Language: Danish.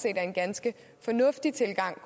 er en ganske fornuftig tilgang